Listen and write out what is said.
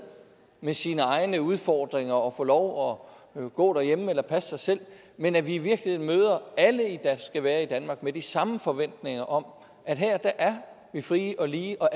med sine egne udfordringer og få lov at gå derhjemme eller passe sig selv men at vi i virkeligheden møder alle der skal være i danmark med de samme forventninger om at her er vi frie og lige og